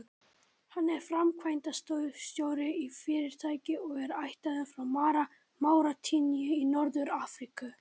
Hann er framkvæmdastjóri í fyrirtæki og er ættaður frá Máritaníu í Norður-Afríku.